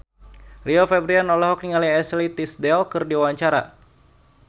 Rio Febrian olohok ningali Ashley Tisdale keur diwawancara